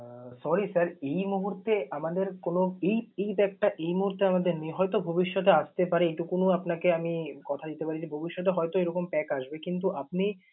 আহ Sorry sir এই মুহূর্তে আমাদের কোন এই এই pack টা এই মুহূর্তে আমাদের নেই, হয়ত ভবিষ্যতে আসতে পারে এইটুকুন আপনাকে আমি কথা দিতে পারি যে, ভবিষ্যতে হয়তো এরকম pack আসবে কিন্তু আপনি